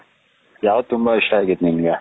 ಯಾವುದು ತುಂಬಾ ಇಷ್ಟ ಆಗಿತ್ತು ನಿನಗೆ.